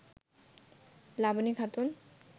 Laboni Khatun